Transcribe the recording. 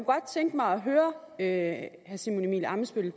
tænke mig at høre herre simon emil ammitzbøll